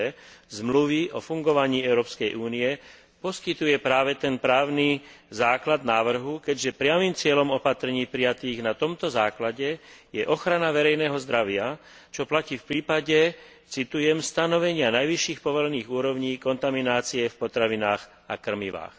b Zmluvy o fungovaní Európskej únie, poskytuje práve ten právny základ návrhu, keďže priamym cieľom opatrení prijatých na tomto základe je ochrana verejného zdravia, čo platí v prípade citujem stanovenia najvyšších povolených úrovní kontaminácie v potravinách a krmivách.